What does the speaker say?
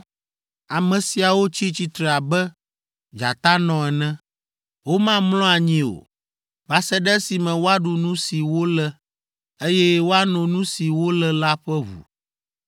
Ame siawo tsi tsitre abe dzatanɔ ene; womamlɔ anyi o. Va se ɖe esime woaɖu nu si wolé. Eye woano nu si wolé la ƒe ʋu!’ ”